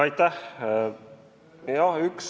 Aitäh!